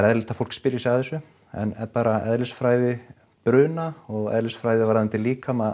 eðlilegt að fólk spyrji sig að þessu en bara eðlisfræði bruna og eðlisfræði varðandi líkama